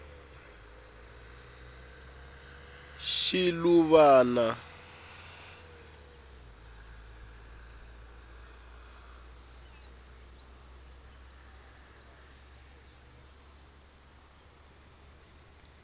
shiluvana